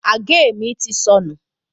Àgé mi ti sọnù